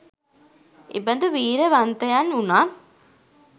එබඳු වීරියවන්තයන් වුනත්